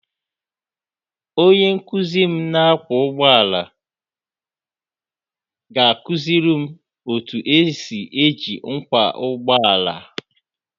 Onye nkuzi m na-akwọ ụgbọala ga-akụziri m otu esi eji ngwa ụgbọ ala